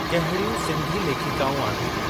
कहिड़ियूं सिंधी लेखिकाऊं आहिनि?